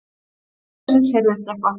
Þá loksins heyrðist eitthvað.